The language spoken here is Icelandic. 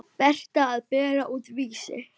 Berta að bera út Vísi.